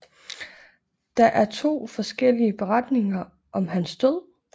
Der er to forskellige beretninger om hans død